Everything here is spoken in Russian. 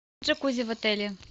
джакузи в отеле